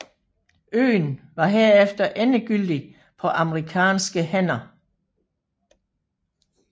Øen var herefter endegyldigt på amerikanske hænder